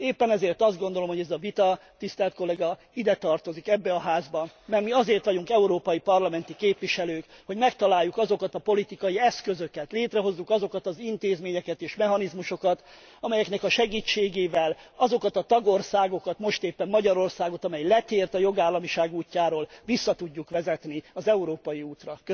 Éppen ezért azt gondolom, hogy ez a vita, tisztelt kolléga, ide tartozik, ebbe a házba, mert mi azért vagyunk európai parlamenti képviselők, hogy megtaláljuk azokat a politikai eszközöket, létrehozzuk azokat az intézményeket és mechanizmusokat, amelyek segítségével azokat a tagországokat most éppen Magyarországot amely letért a jogállamiság útjáról, vissza tudjuk vezetni az európai útra.